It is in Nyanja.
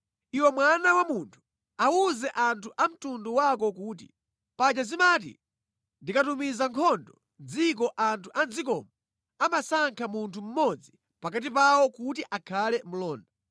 “Iwe mwana wa munthu awuze anthu a mtundu wako kuti, ‘Paja zimati ndikatumiza nkhondo mʼdziko anthu a mʼdzikomo amasankha munthu mmodzi pakati pawo kuti akhale mlonda.